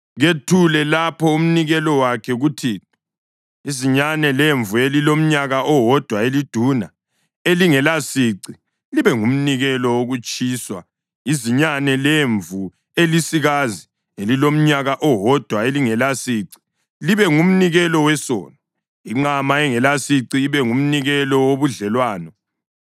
Kethule lapho umnikelo wakhe kuThixo: izinyane lemvu elilomnyaka owodwa eliduna elingelasici libe ngumnikelo wokutshiswa, izinyane lemvu elisikazi elilomnyaka owodwa elingelasici libe ngumnikelo wesono, inqama engelasici ibe ngumnikelo wobudlelwano,